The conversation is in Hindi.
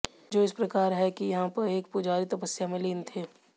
जो इस प्रकार है कि यहां एक पुजारी तपस्या में लीन थे